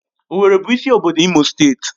Owerri bụ isi obodo Imo steeti